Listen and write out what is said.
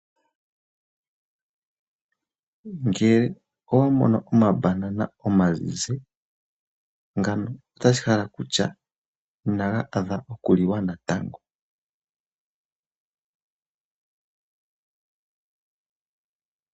Ngele owa mono oma Banana omazizi ngawo otashi hala kutya ina ga adha oku liwa natango.